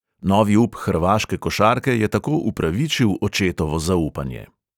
Novi up hrvaške košarke je tako upravičil očetovo zaupanje.